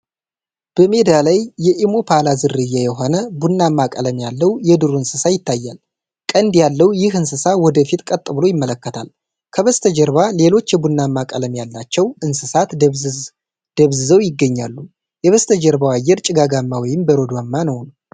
በሜዳ ላይ የኢምፓላ ዝርያ የሆነ ቡናማ ቀለም ያለው የዱር እንስሳ ይታያል። ቀንድ ያለው ይህ እንስሳ ወደ ፊት ቀጥ ብሎ ይመለከታል። ከበስተጀርባ ሌሎች የቡናማ ቀለም ያላቸው እንስሳት ደብዝዘው ይገኛሉ። የበስተጀርባው አየር ጭጋጋማ ወይም በረዶማ ነውን?